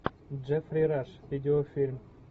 джеффри раш видеофильм